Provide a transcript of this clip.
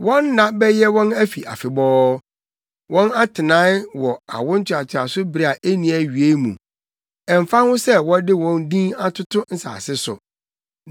Wɔn nna bɛyɛ wɔn afi afebɔɔ, wɔn atenae wɔ awo ntoatoaso bere a enni awiei mu, ɛmfa ho sɛ wɔde wɔn din atoto nsase so.